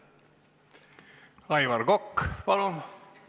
Aivar Kokk, palun!